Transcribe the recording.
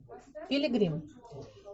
пилигрим